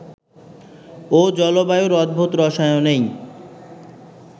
ও জলবায়ুর অদ্ভুত রসায়নেই